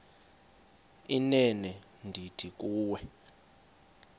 inene ndithi kuwe